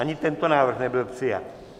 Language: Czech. Ani tento návrh nebyl přijat.